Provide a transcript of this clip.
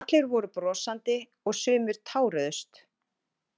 Allir voru brosandi og sumir táruðust